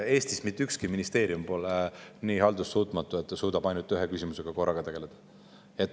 Eestis pole mitte ükski ministeerium nii haldussuutmatu, et ta suudaks tegeleda ainult ühe küsimusega korraga.